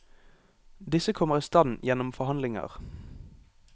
Disse kommer i stand gjennom forhandlinger.